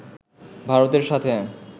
ভারতের সাথে